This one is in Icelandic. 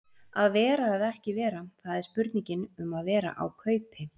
Að vera eða ekki vera, það er spurningin um að vera á kaupi.